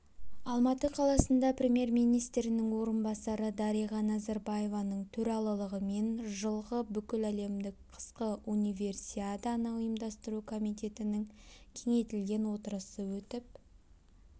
алматы қаласында премьер-министрінің орынбасары дариға назарбаеваның төрағалығымен жылғы бүкіләлемдік қысқы универсиаданы ұйымдастыру комитетінің кеңейтілген отырысы өтіп